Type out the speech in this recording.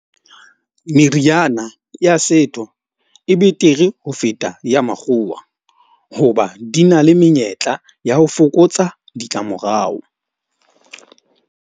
Meriana ya setho e betere ho feta ya makgowa. Hoba di na le menyetla ya ho fokotsa ditlamorao.